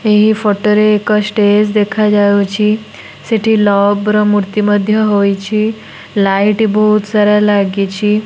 ଏହି ଫଟ ରେ ଏକ ଷ୍ଟେଚ୍ ଦେଖା ଯାଉଛି। ସେଠି ଲଭ୍ ର ମୂର୍ତ୍ତି ମଧ୍ୟ ହୋଇଛି। ଲାଇଟ୍ ବୋହୁତ୍ ସାରା ଲାଗିଛି।